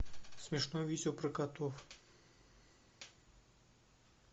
смешное видео про котов